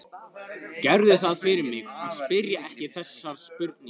Gerðu það fyrir mig að spyrja ekki þessarar spurningar